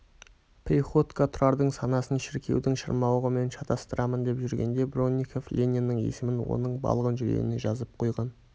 приходько тұрардың санасын шіркеудің шырмауығымен шатыстырамын деп жүргенде бронников лениннің есімін оның балғын жүрегіне жазып қойған